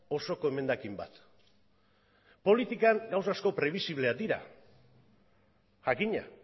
osoko emendakin bat politikan gauza asko prebisibleak dira jakina